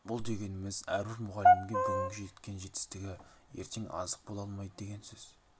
бұл дегеніміз әрбір мұғалімге бүгінгі жеткен жетістігі ертең азық бола алмайды деген сөз